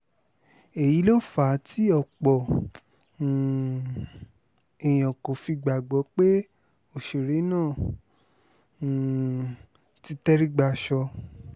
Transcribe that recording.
èyí ló fà á tí tí ọ̀pọ̀ um èèyàn kò fi gbàgbọ́ pé òṣèré náà um ti tẹrí-gbàsọ